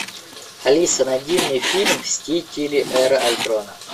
алиса найди мне фильм мстители эра альтрона